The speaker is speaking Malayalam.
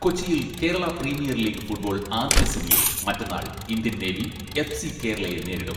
കൊച്ചിയിൽ കേരള പ്രീമിയർ ലീഗ് ഫുട്ബോൾ ആദ്യ സെമിയിൽ മറ്റെന്നാൾ ഇന്ത്യൻ നേവി, എഫ്സി കേരളയെ നേരിടും.